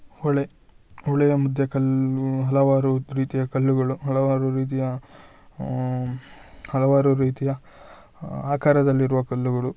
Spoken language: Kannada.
ಹೊಳೆ ಹೊಳೆಯ ಮದ್ಯೆ ಕಲ್ಲು ಹಲವಾರು ರೀತಿಯ ಕಲ್ಲುಗಳು ಹಲವಾರು ರೀತಿಯ ಅಹ್ ಹಲವಾರು ರೀತಿಯ ಆಕಾರದಲ್ಲಿರುವ ಕಲ್ಲುಗಳು.